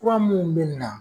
Fuea minnu bɛ na